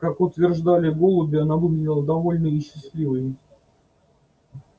как утверждали голуби она выглядела довольной и счастливой